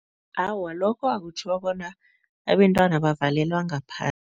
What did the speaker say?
Awa, akutjho bona abentwana bavalelwa ngaphandle.